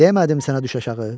Demədim sənə düş aşağı?